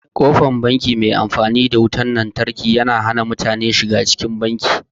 Ƙofar banki mai amfani da wutan lantarki ta hana mutane shiga cikin banki.